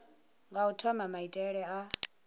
nga u thoma maitele a